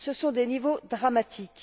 Ce sont des niveaux dramatiques.